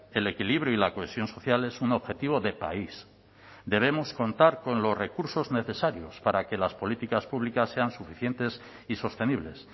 el equilibrio y la cohesión social es un objetivo de país debemos contar con los recursos necesarios para que las políticas públicas sean suficientes y sostenibles